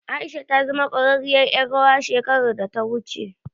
Aisha ta zama ƙwararriyar ƴar rawa shekarar da ta wuce.